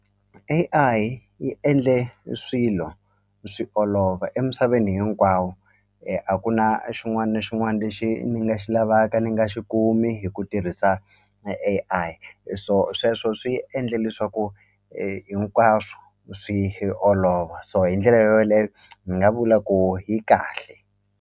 A_I yi endle swilo swi olova emisaveni hinkwawo a ku na a xin'wani na xin'wani lexi ni nga xi lavaka ni nga xi kumi hi ku tirhisa a A_I so sweswo swi endle leswaku hinkwaswo swi olova so hi ndlela yoleyo ni nga vula ku yi kahle.